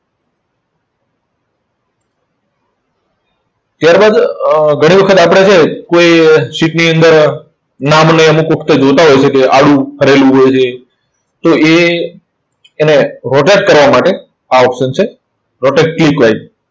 ત્યાર બાદ અર ઘણી વખત આપણે જે કોઈ sheet ની અંદર નામને અમુક વખતે જોતા હોય છે કે આડું કરેલું હોય છે. તો એ એને rotate કરવા માટે આ option છે rotate